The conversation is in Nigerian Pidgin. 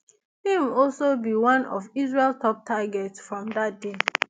im also be one of israel top targets from dat day